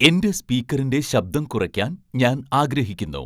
എന്റെ സ്പീക്കറിന്റെ ശബ്ദം കുറയ്ക്കാൻ ഞാൻ ആഗ്രഹിക്കുന്നു